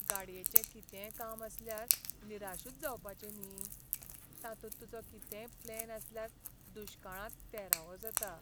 गाडयेचें कितेंय काम आयल्यार निराशूच जावपाचें न्ही, तातूंत तुजो कितेंय प्लॅन आसल्यार दुश्काळांत तेरावो जाता.